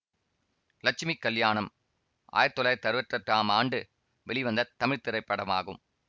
லட்சுமி கல்யாணம் ஆயிரத்தி தொள்ளாயிரத்தி அறுவத்தெட்டாம் ஆண்டு வெளிவந்த தமிழ் திரைப்படமாகும்